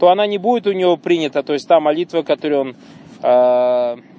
то она не будет у него принята то есть та молитва которую он аа